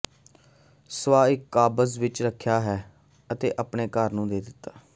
ਸੁਆਹ ਇੱਕ ਕਾਬਜ਼ ਵਿੱਚ ਰੱਖਿਆ ਹੈ ਅਤੇ ਆਪਣੇ ਘਰ ਨੂੰ ਦੇ ਦਿੱਤਾ